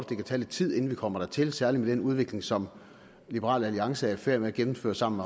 det kan tage lidt tid inden vi kommer dertil særlig med den udvikling som liberal alliance er i færd med at gennemføre sammen